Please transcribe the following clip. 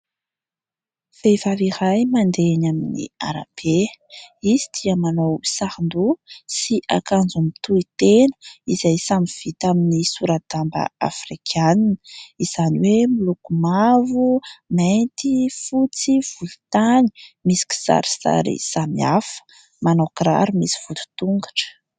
Vehivavy iray mandeha eny amin'ny arabe. Izy dia manao saron-doha sy akanjo mitohy tena izay samy vita amin'ny sora-damba afrikanina izany hoe miloko mavo, mainty, fotsy, volontany misy kisarisary samihafa. Manao kiraro misy vodi-tongotra.